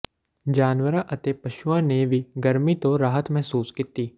ਜਾਨਵਰਾਂ ਅਤੇ ਪਸ਼ੂਆਂ ਨੇ ਵੀ ਗਰਮੀ ਤੋਂ ਰਾਹਤ ਮਹਿਸੂਸ ਕੀਤੀ